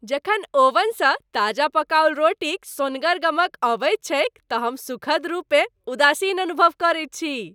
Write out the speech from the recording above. जखन ओवनसँ ताजा पकाओल रोटीक सोन्हगर गमक अबैत छैक त हम सुखद रूपेँ उदासीन अनुभव करैत छी।